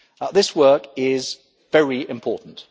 This work is very important.